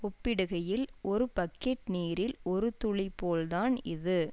ஒப்பிடுகையில் ஒரு பக்கெட் நீரில் ஒரு துளி போல்தான் இது